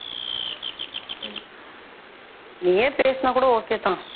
நீயே பேசுனா கூட okay தான்